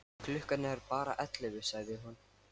Klukkan er bara ellefu, sagði hún.